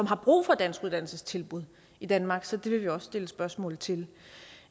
har brug for danskuddannelsestilbud i danmark så det vil vi også stille spørgsmål til